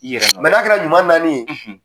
I yɛrɛ nɔn do n'a kɛra ɲuman naani ye.